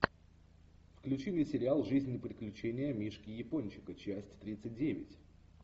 включи мне сериал жизнь и приключения мишки япончика часть тридцать девять